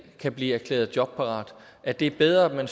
kan blive erklæret jobparat at det er bedre